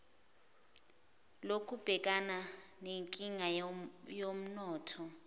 lokubhekana nenkinga yomnotho